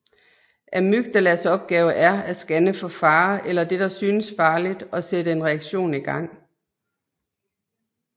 Amygdalas opgave er at scanne for fare eller det der synes farligt og sætte en reaktion i gang